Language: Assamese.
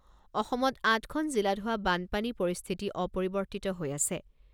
অসমত আঠখন জিলাত হোৱা বানপানী পৰিস্থিতি অপৰিৱৰ্তিত হৈ আছে।